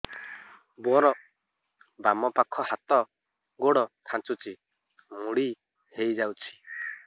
ମୋର ବାମ ପାଖ ହାତ ଗୋଡ ଖାଁଚୁଛି ମୁଡି ହେଇ ଯାଉଛି